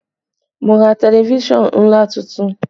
Mo ra tẹlifísàn ńlá tuntun